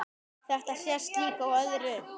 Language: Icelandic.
Þetta sést líka á öðru.